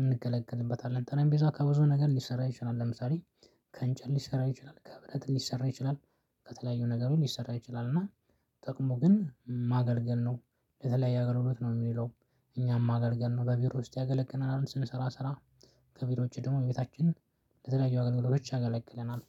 እንገለግልበታለን ጠረም ቤዛ ከብዙ ነገር ሊሰራ ይችላል። ለምሳሌ ከንጨት ሊሰራ ይችላል ከብረት ሊሰራ ይችላል ከተለያዩ ነገሮች ሊሰራ ይችላል። እና ጥቅሙ ግን ማገልገል ነው በተለያዬ አገልግሎት ነው የሚለው። እኛን ማገልገል ነው በቢሮ ውስጥ ያገለግለናል ስንሰራ ስራ ከቢሮ ውጭ ደግሞ ቤታችን ለተለያዩ አገልግሎቶች ያገለግለናል።